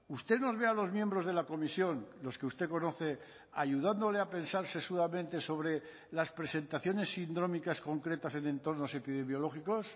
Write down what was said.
usted nos ve a los miembros de la comisión los que usted conoce ayudándole a pensar sesudamente sobre las presentaciones sindrómicas concretas en entornos epidemiológicos